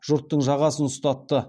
жұрттың жағасын ұстатты